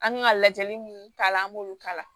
An kan ka lajɛli minnu k'a la an b'olu kala